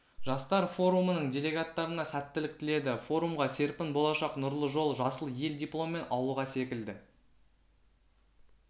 жастар форумының делегаттарына сәттілік тіледі форумға серпін болашақ нұрлы жол жасыл ел дипломмен ауылға секілді